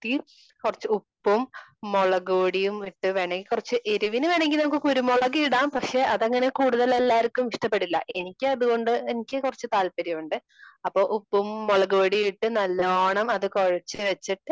കുറച്ച് ഉപ്പും മുളക് പൊടിയും ഇട്ട് കുറച്ച് വേണേൽ എരിവിന് വേണേൽ കുരുമുളക് ഇടാം അതങ്ങനെ കൂടുതൽ എല്ലാവർക്കും ഇഷ്ടപെടില്ല. എനിക്ക് അത്കൊണ്ട് എനിക്ക് കുറച്ച് താല്പര്യം ഉണ്ട്. അപ്പൊ ഉപ്പും മുളക് പൊടിയും ഇട്ട് നല്ലോണം അത് കുഴച്ച് വച്ചിട്ട്